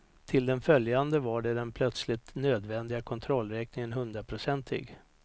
Till den följande var den plötsligt nödvändiga kontrollräkningen hundraprocentig.